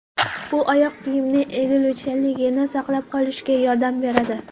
Bu oyoq kiyimning egiluvchanligini saqlab qolishga yordam beradi.